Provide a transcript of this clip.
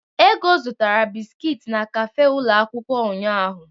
Ego zụtara bisiki n'kafe ụlọ akwụkwọ ụnyahụ.